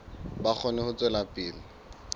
ba kgone ho tswela pele